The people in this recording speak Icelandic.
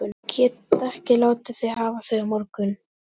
Ég get ekki látið þig hafa þau á morgun